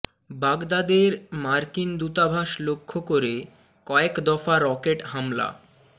বাগদাদের মার্কিন দূতাবাস লক্ষ্য করে কয়েক দফা রকেট হামলা